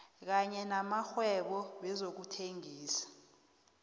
kanye namakghwebo wezokuthengisa